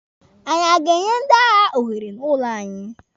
Anyị a ga-enye ndị agha ohere n'ụlọ anyị?